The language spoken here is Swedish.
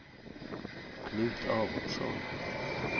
Knut Aronsson